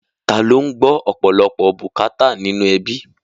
Taa ló ń gbọ́ ọ̀pọ̀lọpọ̀ bùkátà nínú ẹbí?